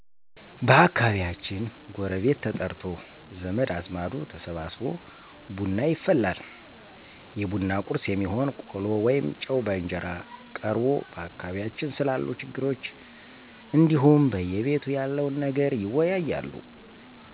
በአካባቢያችን ጎረቤት ተጠርቶ፣ ዘመድ አዝማዱ ተሰብስቦ ብና ይፈላል። የቡና ቁርስ የሚሆን ቆሎ ወይም ጨው በእንጀራ ቀርቦ በአካባቢያችን ስላሉ ችግሮች እንዲሁም በየቤቱ ያለውን ነገር ይወያያሉ።